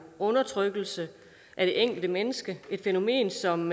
undertrykkelse af det enkelte menneske et fænomen som